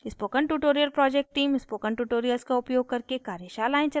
spoken tutorial project team: spoken tutorials का उपयोग करके कार्यशालाएं चलाती है